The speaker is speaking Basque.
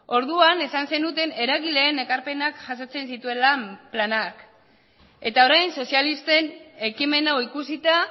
orduan esan zenuten eragileen ekarpenak jasotzen zituela planak eta orain sozialisten ekimen hau ikusita